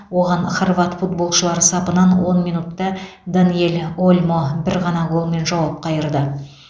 оған хорват футболшылары сапынан он минутта даниэль ольмо бір ғана голмен жауап қайырды